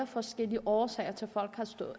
forskellige årsager til